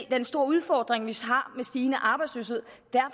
den store udfordring vi har med stigende arbejdsløshed